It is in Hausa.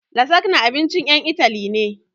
Lasagna abincin ƴan Itali ne